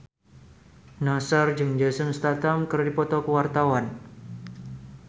Nassar jeung Jason Statham keur dipoto ku wartawan